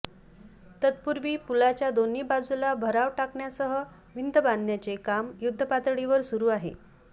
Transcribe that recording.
तत्पूर्वी पुलाच्या दोन्ही बाजूला भराव टाकण्यासह भिंत बांधण्याचे काम युद्धपातळीवर सुरू आहे